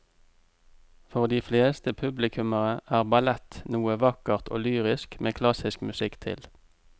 For de fleste publikummere er ballett noe vakkert og lyrisk med klassisk musikk til.